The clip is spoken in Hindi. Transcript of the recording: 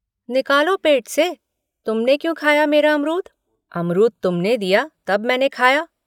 निकालो पेट से तुमने क्यों खाया मेरा अमरूद। अमरूद तुमने दिया तब मैंने खाया।